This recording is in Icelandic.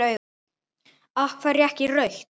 Af hverju ekki rautt?